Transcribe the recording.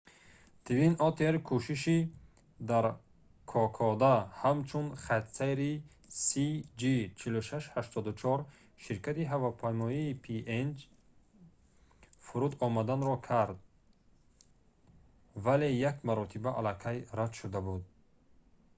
twin otter кӯшиши дар кокода ҳамчун хатсайри cg4684 ширкати ҳавопаймоии png фуруд омаданро кард вале як маротиба алакай рад шуда буд